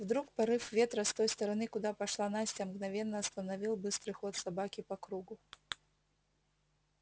вдруг порыв ветра с той стороны куда пошла настя мгновенно остановил быстрый ход собаки по кругу